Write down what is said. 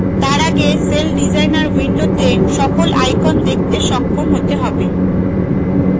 তার আগে celldesigner window সকল icons দেখতে সক্ষম হতে হবে